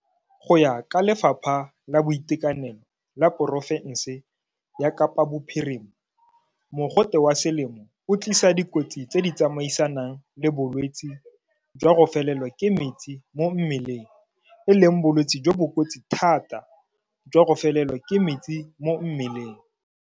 Go ya ka Lefapha la Boitekanelo la porofense ya Kapa Bophirima, mogote wa selemo o tlisa dikotsi tse di tsamaisanang le bolwetse jwa go felelwa ke metsi mo mmeleng, e leng bolwetse jo bo kotsi thata jwa go felelwa ke metsi mo mmeleng.